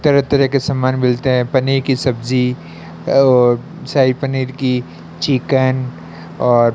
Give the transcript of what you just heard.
तरह तरह के सामान मिलते हैं पनीर की सब्जी शाही पनीर की चिकन और --